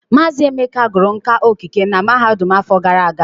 Mazị Emeka gụrụ nka okike na mahadum afọ gara aga.